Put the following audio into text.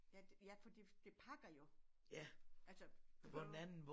Ja ja fordi det pakker jo. Altså på